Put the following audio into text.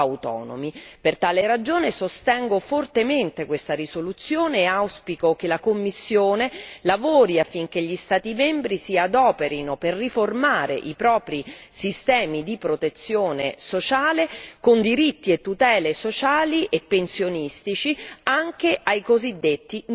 Per tale ragione sostengo fortemente questa risoluzione e auspico che la Commissione lavori affinché gli Stati membri si adoperino per riformare i propri sistemi di protezione sociale, con diritti e tutele sociali e pensionistici anche ai cosiddetti non garantiti.